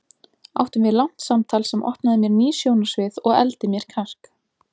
Áttum við langt samtal sem opnaði mér ný sjónarsvið og efldi mér kjark.